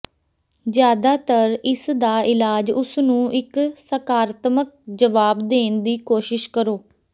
ਜ਼ਿਆਦਾਤਰ ਇਸ ਦਾ ਇਲਾਜ ਉਸ ਨੂੰ ਇੱਕ ਸਕਾਰਾਤਮਕ ਜਵਾਬ ਦੇਣ ਦੀ ਕੋਸ਼ਿਸ਼ ਕਰੋ